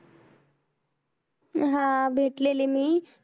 हा भेटलेली मी.